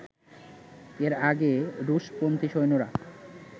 এর আগে রুশ-পন্থী সৈন্যরা